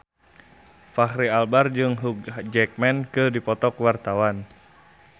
Fachri Albar jeung Hugh Jackman keur dipoto ku wartawan